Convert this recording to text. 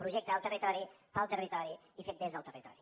projecte del territori pel territori i fet des del territori